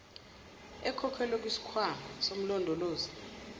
ekhokhelwe kusikhwama somlondolozi